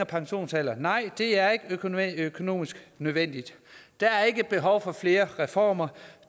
pensionsalder nej det er ikke økonomisk nødvendigt der er ikke behov for flere reformer